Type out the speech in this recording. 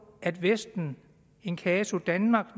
at vesten in casu danmark